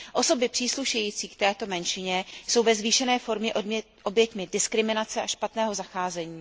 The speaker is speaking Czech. Osoby příslušející k této menšině jsou ve zvýšené formě oběťmi diskriminace a špatného zacházení.